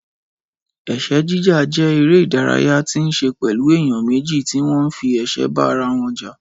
Ẹ̀sẹ́ jíjà jẹ́ eré ìdárayá tí ó nííṣe pẹ̀lú èèyàn méjì tí ó ń fi ẹ̀sẹ́ bá ara wọn jà